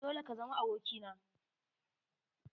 Dole ka zama aboki na!